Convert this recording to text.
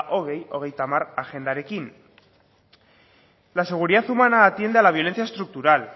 bi mila hogeita hamar agendarekin la seguridad humana atiende a la violencia estructural